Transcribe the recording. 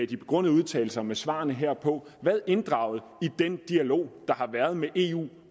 de begrundede udtalelser med svarene herpå været inddraget i den dialog der har været med eu